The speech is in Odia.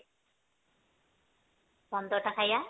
ପନ୍ଦର ଟା ଖାଇବା